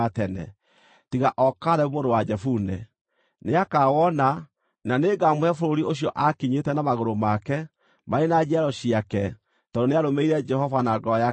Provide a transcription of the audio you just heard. tiga o Kalebu mũrũ wa Jefune. Nĩakawona, na nĩngamũhe bũrũri ũcio aakinyĩte na magũrũ make, marĩ na njiaro ciake, tondũ nĩarũmĩrĩire Jehova na ngoro yake kũna.”